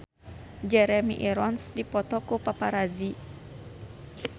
Jeremy Irons dipoto ku paparazi